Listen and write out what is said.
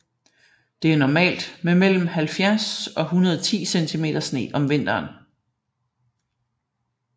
Det er normalt med mellem 70 og 110 cm sne om vinteren